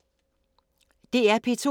DR P2